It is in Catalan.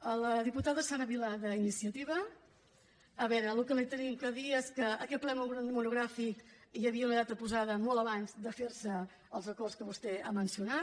a la diputada sara vilà d’iniciativa a veure el que li havíem de dir és que per a aquest ple monogràfic hi havia una data posada molt abans de fer se els acords que vostè ha mencionat